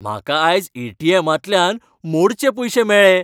म्हाका आयज ए.टी.एमातल्यान मोडचे पयशे मेळ्ळे.